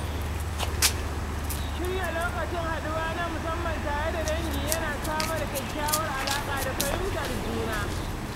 Shirya lokacin haɗuwa na musamman tare da dangi yana samar da kyakkyawar alaƙa da fahimtar juna